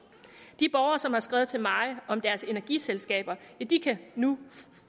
de borgere som har skrevet til mig om deres energiselskaber ja de kan nu